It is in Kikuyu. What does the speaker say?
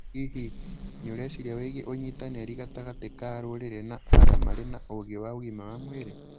Hihi, nĩ ũreciria wĩgie ũnyitanĩri gatagatĩ ka rũrĩrĩ na arĩa marĩ na ũũgĩ wa ũgima wa mwĩrĩ?